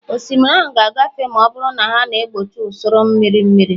osimiri ahụ ga-agafe ma ọ bụrụ na ha na-egbochi usoro mmiri mmiri